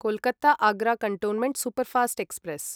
Kolkata Agra cantonment superfast express